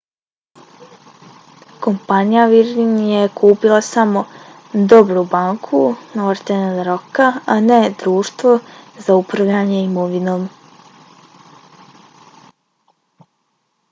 kompanija virgin je kupila samo 'dobru banku' northern rocka a ne društvo za upravljanje imovinom